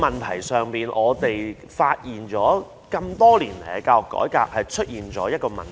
我們發現多年來的教育改革出現了一個問題。